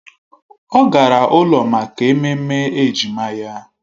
Ọ gara ụlọ maka ememme ejima ya